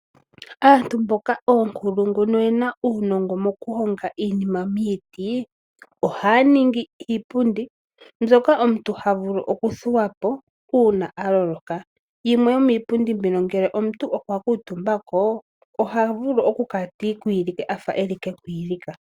Aanru mboka oonkulungu noyena uunongo mokuhonga iinima miiti, ohaya ningi iipundi mbyoka omuntu h vulu okuthuwa po uuna a loloka. Yimwe yomiipundi mbino ngele omuntu okwa kuutumba ko, oha vulu okukala ta ikwilike a fa eli kekwiilika.